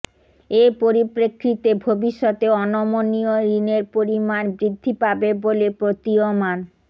এ পরিপ্রেক্ষিতে ভবিষ্যতে অনমনীয় ঋণের পরিমাণ বৃদ্ধি পাবে বলে প্রতীয়মান